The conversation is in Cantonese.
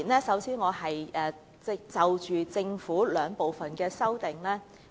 首先，我要就政府的兩組修正案發言。